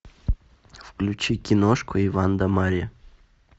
включи киношку иван да марья